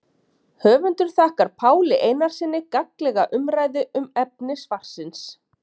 Höfundur þakkar Páli Einarssyni gagnlega umræðu um efni svarsins.